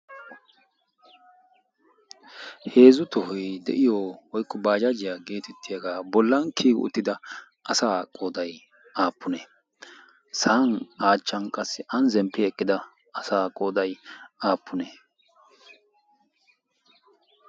heezu tohoy de'iyo oyddu baajaajiyaa geetettiyaagaa bollan kiyi uttida asa qoodai aappune sa'an aachchan qassi aani zemppi eqqida asa qooday aappune